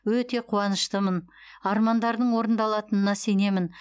өте қуаныштымын армандардың орындалатынына сенемін